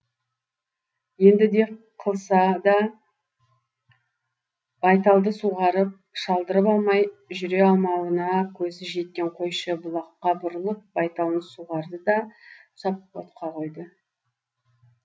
енді де қылса да байталды суғарып шалдырып алмай жүре алмауына көзі жеткен қойшы бұлаққа бұрылып байталын суғарды да тұсап отқа қойды